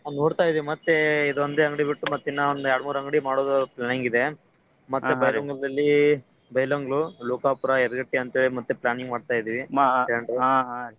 ನೋಡ್ತಾ ಇದೀವ್ ಮತ್ತೇ ಇದೊಂದೇ ಅಂಗ್ಡಿ ಬಿಟ್ಟು ಮತ್ ಇನ್ನ ಒಂದ್ ಯಾಳ್ಡ್ಮೂರ್ ಅಂಗ್ಡಿ ಮಾಡೋದು planning ಇದೆ. ಬೈಲಹೊಂಗಲದಲ್ಲಿ ಬೈಲಹೊಂಗ್ಲು, ಲೋಕಾಪುರ, ಯರಗಟ್ಟಿ ಅಂತೇಳಿ ಮತ್ತೆ planning ಮಾಡ್ತಾ ಇದಿವಿ .